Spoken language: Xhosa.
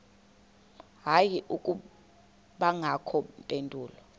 hayi akubangakho mpendulo